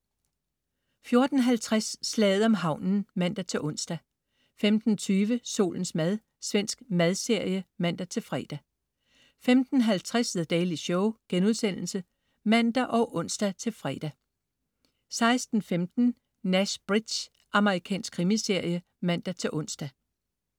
14.50 Slaget om havnen (man-ons) 15.20 Solens mad. Svensk madserie (man-fre) 15.50 The Daily Show* (man og ons-fre) 16.15 Nash Bridges. Amerikansk krimiserie (man-ons)